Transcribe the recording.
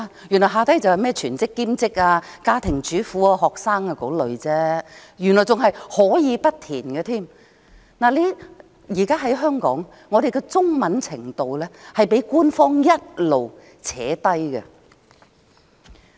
原來即是全職、兼職、家庭主婦、學生等類別而已，而且可以不填，現時香港的中文程度一直被官方拉低。